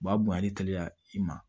U b'a bonyan' teliya i ma